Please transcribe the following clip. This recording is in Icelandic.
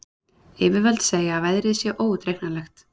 Yfirvöld segja að veðrið sé óútreiknanlegt